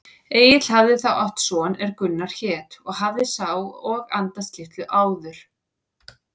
Egill hafði þá átt son er Gunnar hét og hafði sá og andast litlu áður.